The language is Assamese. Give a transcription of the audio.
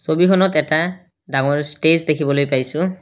ছবিখনত এটা ডাঙৰ ষ্টেজ দেখিবলৈ পাইছোঁ।